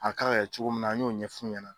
A ka kan kɛ cogo min na an ɲ'o ɲɛf'u ɲɛna